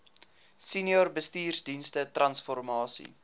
senior bestuursdienste transformasie